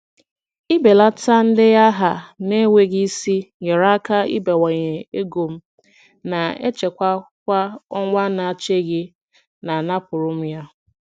Ịbelata ndenye aha na-enweghị isi nyeere aka ịbawanye ego m na-echekwa kwa ọnwa n'echeghị na a napụrụ m ya.